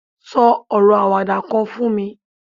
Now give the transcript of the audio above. so oro awada kan fún mi